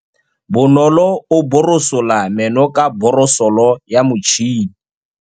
Bonolô o borosola meno ka borosolo ya motšhine.